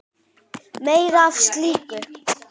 Meira af slíku!